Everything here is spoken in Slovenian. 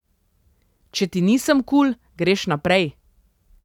Če ti nisem kul, greš naprej.